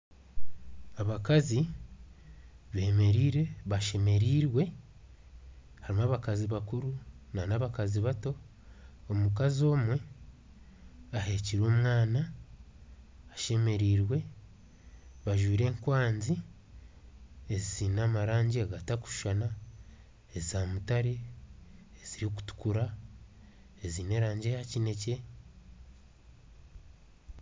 Abakazi bemereire bashemerirwe harimu abakazi bakuru n'abakazi bato, omukazi omwe aheekire omwana ashemerirwe bajwire enkwazi eziine erangi zitakushushana eza mutare, ezirikutukura, eziine erangi eya kinekye.